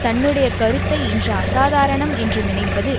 தன்னுடைய கருத்தை இன்று அசாதாரணம் என்று நினைப்பது